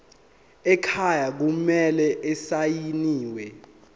ekhaya kumele asayiniwe